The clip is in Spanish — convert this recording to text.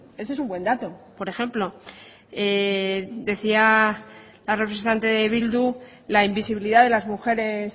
ese es un buen dato por ejemplo decía la representante de bildu la invisibilidad de las mujeres